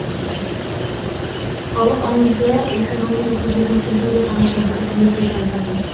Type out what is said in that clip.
халық аңызы оқиғаның осы жеріне келгенде тамаша бір ертегі айтады